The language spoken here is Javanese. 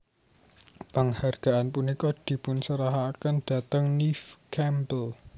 Penghargaan punika dipunserahaken dateng Neve Campbell